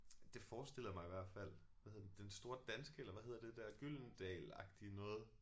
Det forestiller jeg mig i hvert fald hvad hedder den Den Store Danske eller hvad hedder det der Gyldendal agtige noget